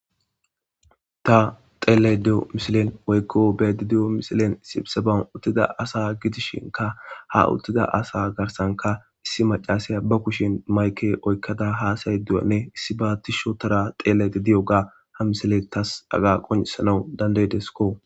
Ha beettido misilen duulata uttidi asa gidishin ha asagidishinkka hauttida asa giddoppe issi maccassiya ba kushen mayke oykkada haasayaydanne issiba uttada xeellaydda diyooga hamisiley taas qoncisanaw danda7ideskko.